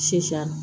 Si san